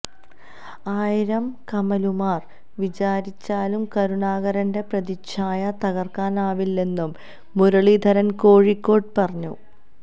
ആയിരം കമലുമാര് വിചാരിച്ചാലും കരുണാകരന്റെ പ്രതിച്ഛായ തകര്ക്കാനാവില്ലെന്നും മുരളീധരന് കോഴിക്കോട് പറഞ്ഞു